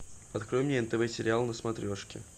открой мне нтв сериал на смотрешке